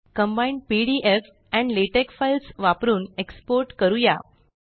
combined PDF and LaTeX files वापरुन export करूया